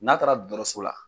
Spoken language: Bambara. N'a taara dɔtɔrɔso la